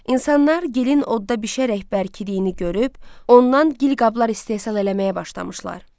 İnsanlar gilin odda bişərək bərkidiyini görüb, ondan gil qablar istehsal eləməyə başlamışlar.